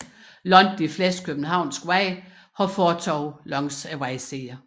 Langt de fleste københavnske veje har fortove langs vejsiderne